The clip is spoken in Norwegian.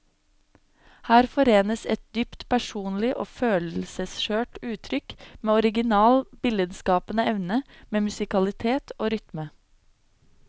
Her forenes et dypt personlig og følelsesskjørt uttrykk med original billedskapende evne, med musikalitet og rytme.